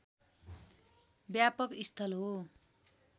व्यापक स्थल हो